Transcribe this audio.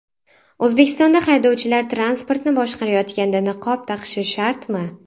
O‘zbekistonda haydovchilar transportni boshqarayotganda niqob taqishi shartmi?.